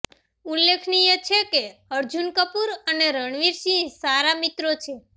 ઉલ્લેખનીય છે કે અર્જુન કપૂર અને રણવીર સિંહ સારા મિત્રો છે